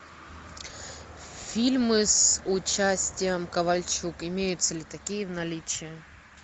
фильмы с участием ковальчук имеются ли такие в наличии